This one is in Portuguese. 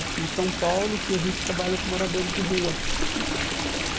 aqui em São Paulo, que a gente trabalha com moradores de rua. Hum